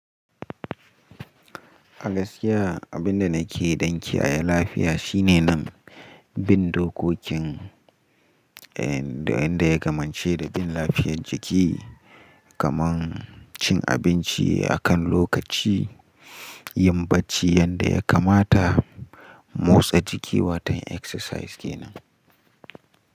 A gaskiya, abin da nake dan kiyaye lafiya shine nan bin dokokin eh da wanda ya kamance da bin lafiyar jiki kaman cin abinci akan lokaci, yin bacci yanda ya kamata, motsa jiki watan exercise kenan.